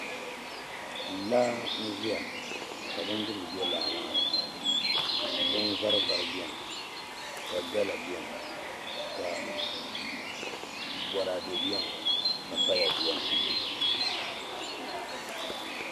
laa n-ʒia ka bindirigu be laa maa ni binvarivari beni ka gala beni ka bɔraade beni ka paya beni